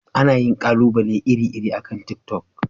Ana yin ƙalubale iri-iri akan tiktok.